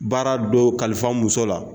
Baara dow kalifa muso la